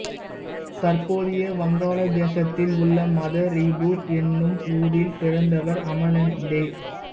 தற்போதைய வங்காளதேசத்தில் உள்ள மதரிபூர் என்னும் ஊரில் பிறந்தவர் அமலெந்து டே